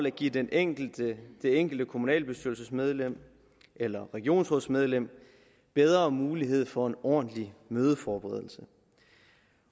at give det enkelte enkelte kommunalbestyrelsesmedlem eller regionsrådsmedlem bedre mulighed for en ordentlig mødeforberedelse